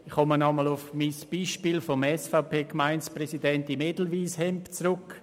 Ich komme noch einmal auf mein Beispiel des SVP-Gemeinderats im Edelweisshemd zurück.